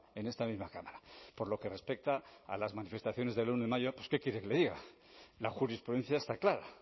en esta misma cámara por lo que respecta a las manifestaciones del uno de mayo pues qué quiere que le diga la jurisprudencia está clara